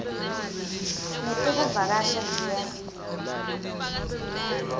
netekuvakasha dea t